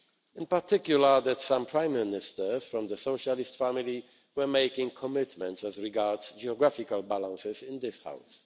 In particular, some Prime Ministers from the Socialist family were making commitments as regards geographical balance in this House.